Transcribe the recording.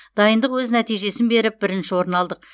дайындық өз нәтижесін беріп бірінші орын алдық